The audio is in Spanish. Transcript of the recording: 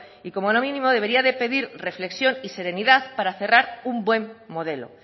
y como lo mínimo debería de pedir reflexión y serenidad para cerrar un buen modelo